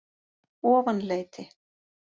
Ofanleiti